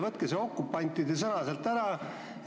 Võtke see "okupantide" sõna sealt ära!